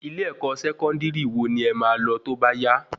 Ilé-ẹkọ Sẹkọndiri wo ni ẹ má lọ tóbá yá?